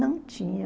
Não tinha.